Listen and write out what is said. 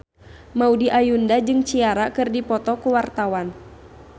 Maudy Ayunda jeung Ciara keur dipoto ku wartawan